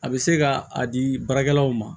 A bɛ se ka a di baarakɛlaw ma